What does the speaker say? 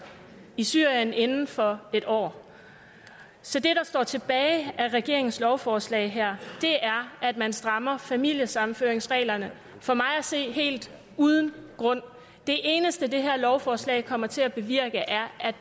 i syrien inden for en år så det der står tilbage med regeringens lovforslag her er at man strammer familiesammenføringsreglerne for mig at se helt uden grund det eneste det her lovforslag kommer til at bevirke er